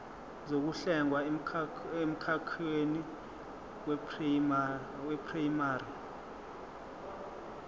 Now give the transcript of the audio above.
zokuhlenga emkhakheni weprayimari